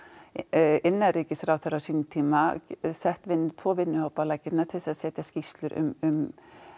innanríkisráðherra á sínum tíma sett tvo vinnuhópa á laggirnar til að setja skýrslur um